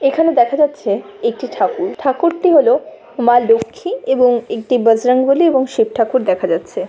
এখানে দেখা যাচ্ছে একটি ঠাকুর ঠুকার টি হল মা লক্ষী এবং একটি বজরং বলী এবং শিব ঠাকুর দেখা যাচ্ছে।